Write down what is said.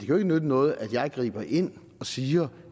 jo ikke nytte noget at jeg griber ind og siger